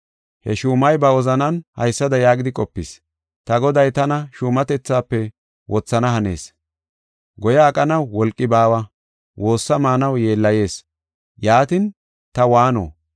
“He shuumay ba wozanan haysada yaagidi qopis: ‘Ta goday tana shuumatethaafe wothana hanees, goya aqanaw wolqi baawa, woossa maanaw yeellayees; yaatin ta waano?